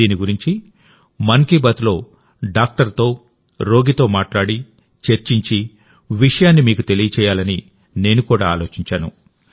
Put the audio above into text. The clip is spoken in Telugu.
దీని గురించి మన్ కీ బాత్లో డాక్టర్ తో రోగితోమాట్లాడి చర్చించి విషయాన్ని మీకు తెలియజేయాలని నేను కూడా ఆలోచించాను